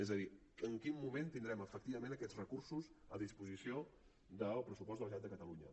és a dir en quin moment tindrem efectivament aquests recursos a disposició del pressupost de la generalitat de catalunya